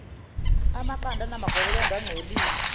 amaqanda anamagobolondo angcolile